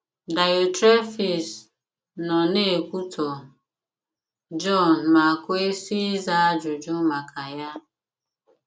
Daịọtrefis nọ na - ekwutọ Jọn ma kwesị ịza ajụjụ maka ya.